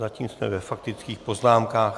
Zatím jsme ve faktických poznámkách.